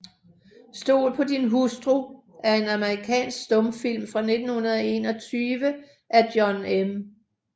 Stol på din hustru er en amerikansk stumfilm fra 1921 af John M